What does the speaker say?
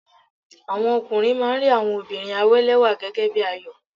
Àwọn ọkùnrin máa ń rí àwọn obìnrin àwélẹ́wà gẹ́gẹ́ bí àyò.